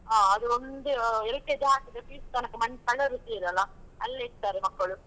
ಹಾ ಅದು ಒಂದು LKG ಆದ್ರೆ PUC ತನಕ ಮಂ ತಲೆಬಿಸಿ ಇರಲ್ಲ, ಅಲ್ಲೇ ಇರ್ತಾರೆ ಮಕ್ಕಳು.